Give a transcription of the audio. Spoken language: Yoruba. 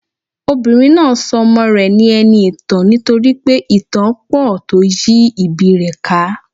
Obìnrin náà so ọmọ rè ní eniìtàn nítorípé ìtàn á pò tó yí ìbí i rè ká